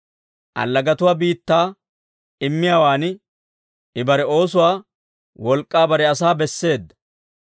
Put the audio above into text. Allagatuwaa biittaa immiyaawan I bare oosuwaa wolk'k'aa bare asaa besseedda.